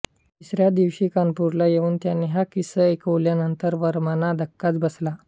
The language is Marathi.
तिसऱ्या दिवशी कानपूरला येऊन त्यांनी हा किस्सा ऐकवल्यानंतर वर्मांना धक्काच बसला